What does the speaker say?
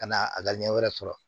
Ka na a ka ɲɛ wɛrɛ sɔrɔ